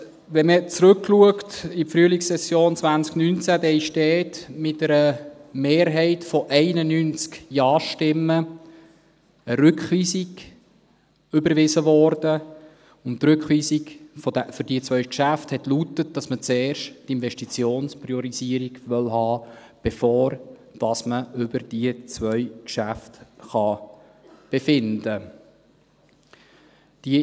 Wenn man zurückblickt in die Frühlingssession 2019, dann wurde damals mit einer Mehrheit von 91 Ja-Stimmen eine Rückweisung überwiesen, und die Rückweisung für diese zwei Geschäfte lautete, dass man zuerst die Investitionspriorisierung haben wolle, bevor man über diese zwei Geschäfte befinden kann.